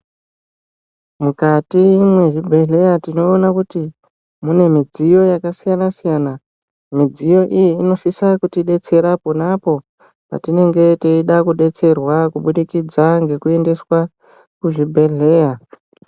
Mukati mwezvibhedheya tinoona kuti mune mudziyo yakasiyana-siyana. Midziyo iyi ,inosisa kutidetsera pona apo, patinenge teida kudetserwa kuburikidza ngekuendeswa, kuzvibhedhleya